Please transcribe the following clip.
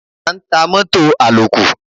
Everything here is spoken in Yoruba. A ń ta mọ́tọ̀ àlòkù.